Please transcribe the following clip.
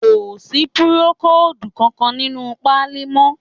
Kò sí púrókòòdù kankan nínú páálí mọ́